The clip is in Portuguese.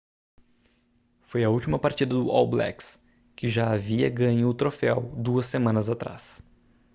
foi a última partida do all blacks que já havia ganho o troféu duas semanas atrás